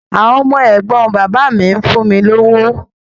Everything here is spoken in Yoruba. Àwọn ọmọ ẹ̀gbọ́n bàbá mi fún mi lówó.